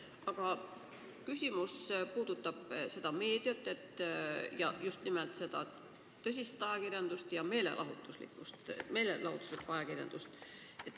Aga küsimus puudutab tõsist ajakirjandust ja meelelahutuslikku ajakirjandust.